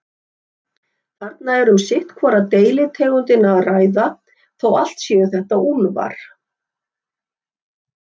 Þarna er um sitt hvora deilitegundina að ræða, þó allt séu þetta úlfar.